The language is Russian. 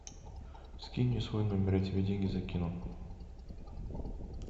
скинь мне свой номер я тебе деньги закину